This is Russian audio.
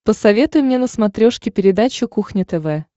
посоветуй мне на смотрешке передачу кухня тв